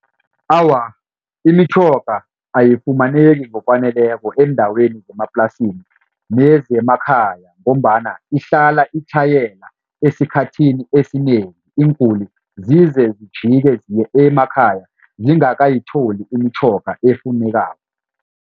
Awa, imitjhoga ayifumaneki ngokwaneleko eendaweni zemaplasini nezemakhaya ngombana ihlala itlhayela. Esikhathini esinengi iinguli zize zijike ziye emakhaya zingakatholi imitjhoga efunekako.